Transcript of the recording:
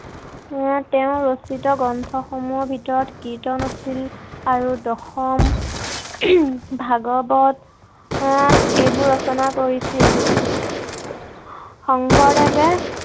আহ তেওঁ ৰচিত গ্ৰন্থ সমূহৰ ভিতৰত কীৰ্তন আছিল আৰু দশম। ভাগৱত আহ এইবোৰ ৰচনা কৰিছিল। শংকৰদেৱে